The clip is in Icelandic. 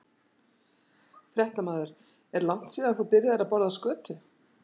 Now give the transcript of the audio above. Fréttamaður: Er langt síðan að þú byrjaðir að borða skötu?